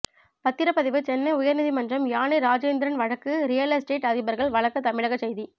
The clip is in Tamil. பத்திரப்பதிவு சென்னை உயர்நீதிமன்றம் யானை ராஜேந்திரன் வழக்கு ரியல்எஸ்டேட் அதிபர்கள் வழக்கு தமிழக செய்தி